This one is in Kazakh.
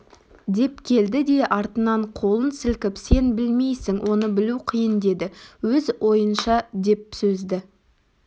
деп келді де артынан қолын сілкіп сен білмейсің оны білу қиын деді өз ойынша деп сөзді